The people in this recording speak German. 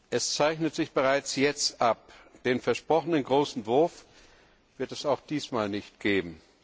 Es zeichnet sich bereits jetzt ab Den versprochenen großen Wurf wird es auch diesmal nicht geben.